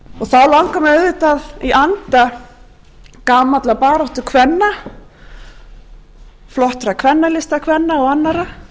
þá langar mig auðvitað í anda gamalla baráttukvenna flottra kvennalistakvenna og annarra